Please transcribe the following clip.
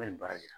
baara kɛ